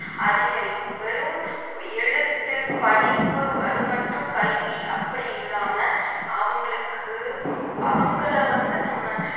அதிகரிக்கும் வெறும் எழுத்து படிப்பு அது மட்டும் கல்வி அப்படி இல்லாம அவங்களுக்கு அவங்கள வந்து நம்ம